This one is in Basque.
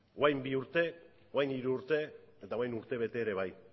orain bi urte orain hiru urte eta orain urte bete ere bai